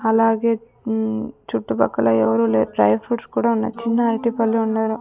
అలాగే ఉమ్ చుట్టుపక్కల ఎవరూలేరు డ్రైప్రూట్స్ కూడా ఉన్నాయ్ చిన్న అరటిపళ్లు ఉన్నారు.